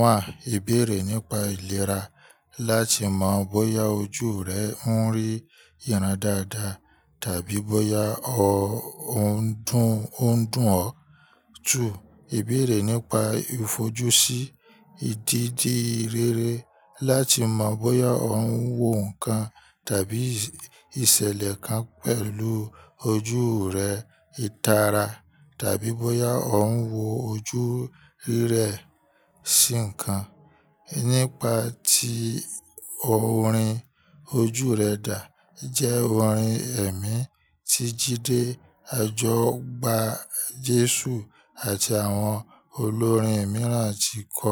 Wàá, ìbéèrè nípa ìlera láti mọ̀ bóyá ojú rẹ ń rí ìyàrá dáadáa tàbí bóyá ó ń dùn ó ń dùn ọ. Two, ìbéèrè nípa ìfojúsí ìdíti rere láti mọ̀ bóyá ò ń wo nǹkan tàbí ìṣẹ̀lẹ̀ kan pẹ̀lú ojú rẹ, ìtara tàbí bóyá ò ń wo ojú rẹ sí nǹkan. Nípa tí orin ojú rẹ dà jẹ́ orin ẹ̀mí tí Jídé Ajọgbá Jésù àti àwọn olórin mìíràn ti kọ.